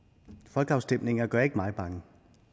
folkeafstemninger gør ikke mig bange